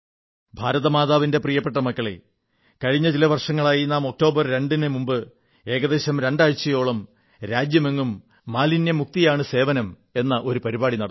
ഭാരതമാതാവിന്റെ പ്രിയസന്താനങ്ങളേ കഴിഞ്ഞ ചില വർഷങ്ങളായി നാം ഒക്ടോബർ 2 നു മുമ്പ് ഏകദേശം രണ്ടാഴ്ചയോളം രാജ്യമെങ്ങും മാലിന്യമുക്തിയാണ് സേവനം എന്ന ഒരു പരിപാടി നടത്തുന്നു